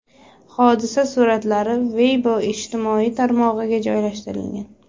Hodisa suratlari Weibo ijtimoiy tarmog‘iga joylashtirilgan.